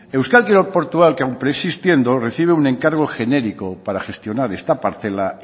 euskal kirol portua que aun preexistiendo recibe un encargo genérico para gestionar esta parcela